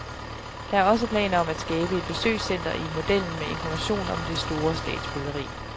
Der er også planer om at skabe et besøgscenter i modellen med information om det store statsbyggeri.